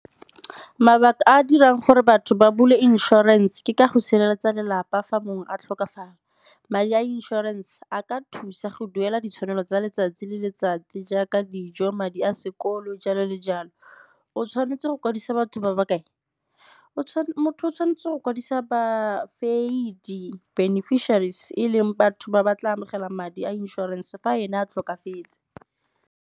Mabaka a a dirang gore batho ba bula insurance ke ka go sireletsa lelapa fa mongwe a tlhokafala. Madi a insurance a ka thusa go duela ditshwanelo tsa letsatsi le letsatsi jaaka dijo, madi a sekolo, jalo le jalo. O tshwanetse go kwadisa batho ba ba kae? Motho o tshwanetse go kwadisa beneficiaries e leng batho ba ba tla amogela madi a inšorense fa ene a tlhokafetse.